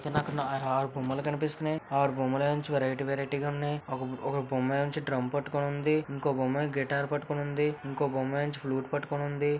నాకు ఆరు బొమ్మలు కనిపిస్తున్నాయి ఆరు బొమ్మలు వెరైటి వేరైటి గా ఉన్నాయి .ఒక ఒక బొమ్మ డ్రం పట్టుకొని ఉంది ఇంకో బొమ్మ గిటార్ పట్టుకొని ఉంద ఇంకో బొమ్మ ఫ్లూట్ పట్టుకొని ఉంది.